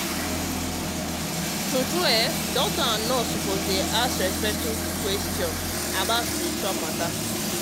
true true doctors and nurses suppose dey ask respectful questions about spiritual matter.